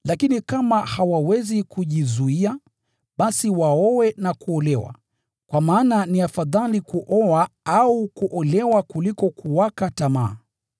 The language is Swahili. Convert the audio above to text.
Lakini kama hawawezi kujizuia, basi waoe na kuolewa, kwa maana ni afadhali kuoa au kuolewa kuliko kuwaka tamaa.